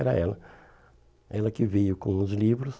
Era ela, ela que veio com os livros.